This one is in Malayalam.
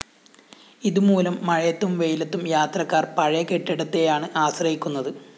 ഇതുമൂലം മഴയത്തും വെയിലത്തും യാത്രക്കാര്‍ പഴയ കെട്ടിടത്തെയാണ് ആശ്രയിക്കുന്നത്